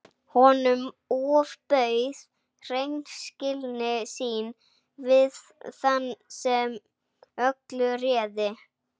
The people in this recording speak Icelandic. Honum ofbauð hreinskilni sín við þann sem öllu réði.